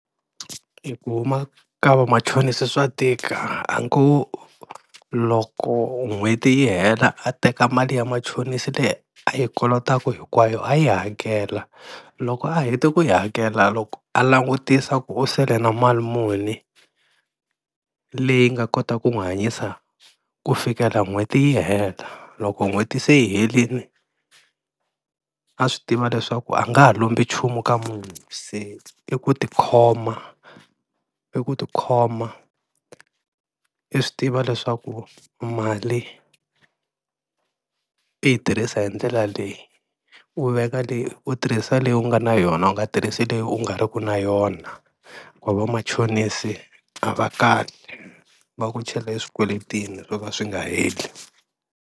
E ku huma ka vamachonisi swa tika a ni ku loko n'hweti yi hela a teka mali ya machonisi leyi a yi kolotaku hinkwayo a yi hakela, loko a heta ku yi hakela loko a langutisa ku u sele na mali muni leyi nga kotaka ku n'wi hanyisa ku fikela n'hweti yi hela, loko n'hweti se yi helini a swi tiva leswaku a nga ha lombi nchumu ka munhu se i ku tikhoma i ku tikhoma i swi tiva leswaku mali i yi tirhisa hi ndlela leyi, u veka leyi u tirhisa leyi u nga na yona u nga tirhisi leyi u nga ri ku na yona, hikuva vamachonisi a va kali va ku chela e swikweletini swo ka swi nga heli.